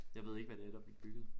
Jeg ved ikke hvad det er der bliver bygget